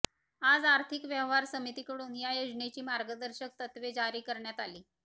आज आर्थिक व्यवहार समितीकडून या योजनेची मार्गदर्शक तत्वे जारी करण्यात आली